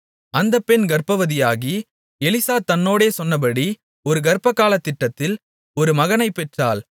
அந்த பெண் கர்ப்பவதியாகி எலிசா தன்னோடே சொன்னபடி ஒரு கர்ப்பகாலத்திட்டத்தில் ஒரு மகனைப் பெற்றாள்